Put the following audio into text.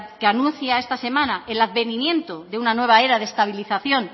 que anuncia esta semana el advenimiento de una nueva era de estabilización